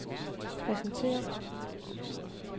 præsentere